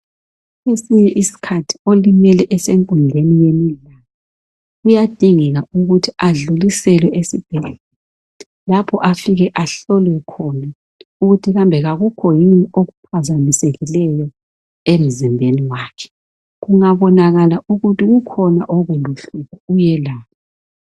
Kwesinye isikhathi olimele esenkundleni yemidlalo, kuyadingeka ukuthi adluliselwe esibhedlela lapho afike ahlolwe khona ukuthi kambe kakukho yini okuphazamisekileyo emzimbeni wakhe. Kungabonakala ukuthi kukhona okuluhlupho uyelatshwa.